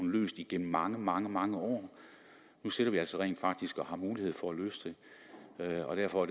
løst igennem mange mange mange år nu sidder vi altså rent faktisk og har mulighed for at løse det og derfor